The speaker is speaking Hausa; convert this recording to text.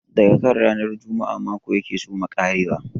Daga kan ranar Juma'a mako ya ke soma ƙarewa.